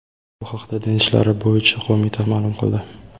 Bu haqda Din ishlari bo‘yicha qo‘mita ma’lum qildi .